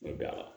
Nka